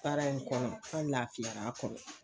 Baara in kɔnɔ an lafiyara kɔnɔ